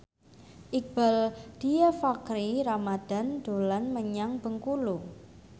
Iqbaal Dhiafakhri Ramadhan dolan menyang Bengkulu